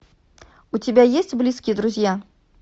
у тебя есть близкие друзья